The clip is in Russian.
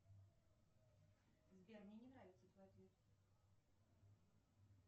сбер мне не нравится твой ответ